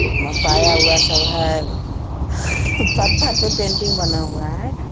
मपाया हुआ सब है पत्थर पे पेंटिंग बना हुआ है।